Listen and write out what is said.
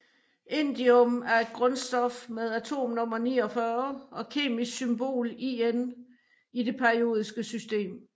Indium er et grundstof med atomnummer 49 og kemiske symbol In i det periodiske system